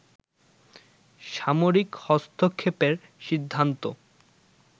সামরিক হস্তক্ষেপের সিদ্ধান্ত